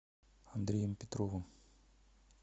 андреем петровым